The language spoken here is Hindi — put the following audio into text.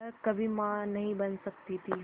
वह कभी मां नहीं बन सकती थी